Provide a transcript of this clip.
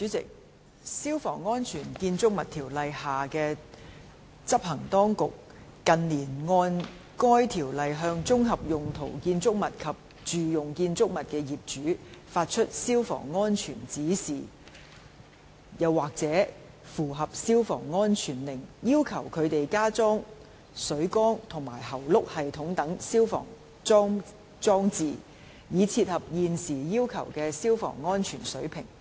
主席，《消防安全條例》下的執行當局，近年按該條例向綜合用途建築物及住用建築物的業主，發出消防安全指示或/及符合消防安全令，要求他們加裝水缸和喉轆系統等消防裝置，以切合現時要求的消防安全水平。